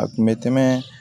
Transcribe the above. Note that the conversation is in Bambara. A kun bɛ tɛmɛ